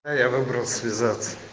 я выбрал связаться